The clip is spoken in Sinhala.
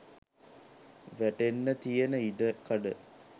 වැටෙන්න තියෙන ඉඩකඩ